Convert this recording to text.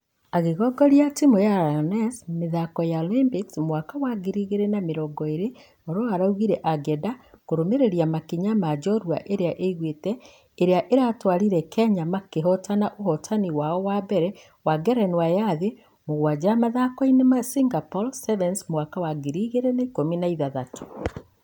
Agĩgongoria timũ ya lioness mĩthako ya Olympics mwaka wa ngiri igĩrĩ na mĩrongo ĩrĩ oloo araugire angeenda kũrũmĩrĩra makinya ma njorua ĩrĩa igũite. Ĩrĩa ĩratwarire kenya makĩhotana ũhotani wao wa mbere wa ngerenwa ya thĩ mũgwaja mũthako-inĩ wa singapore sevens mwaka wa 2016.